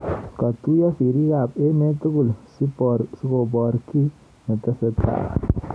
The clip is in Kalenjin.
Katuyo sirik ab emet tugul sibor ki netesetai.